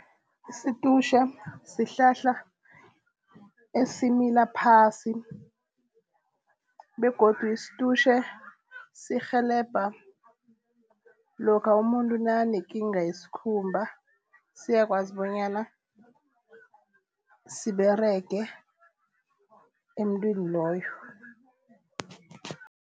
Isitutjhe sihlahla esimila phasi begodu isitutjhe sirhelebha lokha umuntu nakanekinga yesikhumba siyakwazi bonyana siberege emntwini loyo.